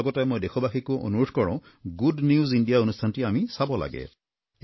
লগতে মই দেশবাসীকো অনুৰোধ কৰোঁ গুড নিউজ ইণ্ডিয়া অনুষ্ঠানটি আমি চাব লাগে